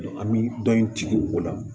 An bɛ dɔn in jigin o la